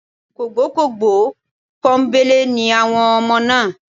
Kògbókògbó pọ́nńbélé ni àwọn ọmọ náà